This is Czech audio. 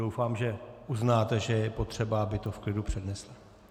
Doufám, že uznáte, že je potřeba, aby to v klidu přednesla.